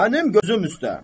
Mənim gözüm üstə.